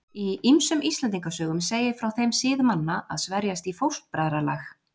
Í ýmsum Íslendingasögum segir frá þeim sið manna að sverjast í fóstbræðralag.